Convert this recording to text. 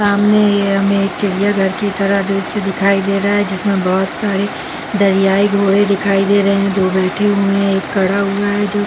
सामने इया में एक चिड़िया घर की तरह दूर से दिखाई दे रहा जिसमे बोहत सारे दरियाई घोड़े दिखाई दे रहे दो बैठा हुए है एक खड़ा हुआ है जो--